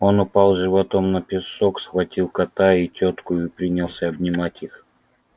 он упал животом на песок схватил кота и тётку и принялся обнимать их